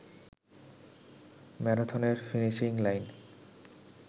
ম্যারাথনের finishing line